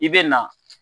I bɛ na